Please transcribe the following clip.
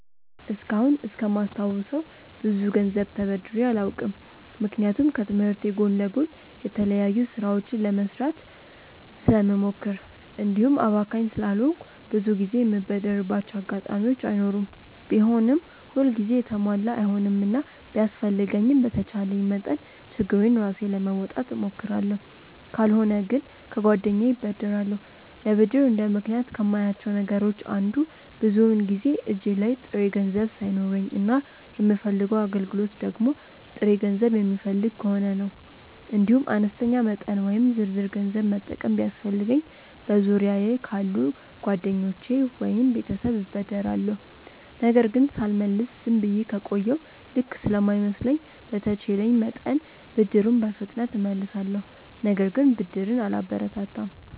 እስካሁን እስከማስታውሰው ብዙ ገንዘብ ተበድሬ አላውቅም። ምክንያቱም ከትምህርቴ ጎን ለጎን የተለያዩ ስራዎችን ለመስራት ስለምሞክር እንዲሁም አባካኝ ስላልሆንኩ ብዙ ጊዜ የምበደርባቸው አጋጣሚዎች አይኖሩም። ቢሆንም ሁል ጊዜ የተሟላ አይሆንምና ቢያስፈልገኝም በተቻለኝ መጠን ችግሬን ራሴ ለመወጣት እሞክራለሁ። ካልሆነ ግን ከጓደኛዬ እበደራለሁ። ለብድር እንደ ምክንያት ከማያቸው ነገሮች አንዱ ብዙውን ጊዜ እጄ ላይ ጥሬ ገንዘብ ሳይኖረኝ እና የምፈልገው አገልግሎት ደግሞ ጥሬ ገንዘብ የሚፈልግ ከሆነ ነው። እንዲሁም አነስተኛ መጠን ወይም ዝርዝር ገንዘብ መጠቀም ቢያስፈልገኝ በዙሪያየ ካሉ ጓደኞቼ ወይም ቤተሰብ እበደራለሁ። ነገር ግን ሳልመልስ ዝም ብዬ ከቆየሁ ልክ ስለማይመስለኝ በተቼለኝ መጠን ብድሩን በፍጥነት እመልሳለሁ። ነገር ግን ብድርን አላበረታታም።